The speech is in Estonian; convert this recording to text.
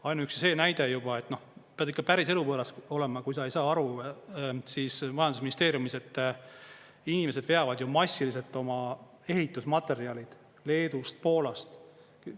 Ainuüksi see näide juba, et pead ikka päris eluvõõras olema, kui sa ei saa aru majandusministeeriumis, et inimesed veavad ju massiliselt oma ehitusmaterjalid Leedust, Poolast.